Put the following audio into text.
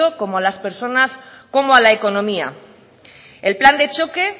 como a las personas como a la economía el plan de choque